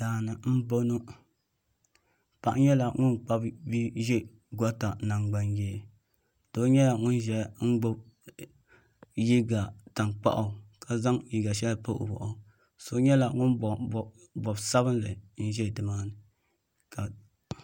daani n bɔŋɔ paɣ' nyɛla ŋɔ kpabi bia ʒɛ gota nankpayɛ do nyɛla ŋɔ ʒɛya gbabi ka yɛ liga tankpagu ka zaŋ liga shɛli pa o bɔɣ' so nyɛla ŋɔ bobi bobosabinli n ʒɛ tɛŋa